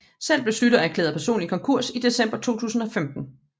Selv blev Schlüter erklæret personlig konkurs i december 2015